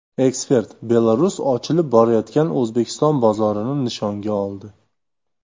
Ekspert: Belarus ochilib borayotgan O‘zbekiston bozorini nishonga oldi.